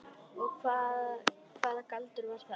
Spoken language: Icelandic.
Og hvaða galdur var það?